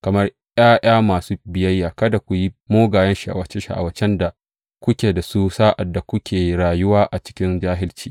Kamar ’ya’ya masu biyayya, kada ku bi mugayen sha’awace sha’awacen da dā kuke da su sa’ad da kuke rayuwa a cikin jahilci.